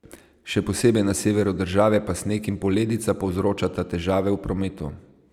Še posebej na severu države pa sneg in poledica povzročata težave v prometu.